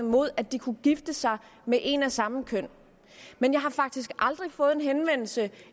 mod at de kunne gifte sig med en af samme køn men jeg har faktisk aldrig fået en henvendelse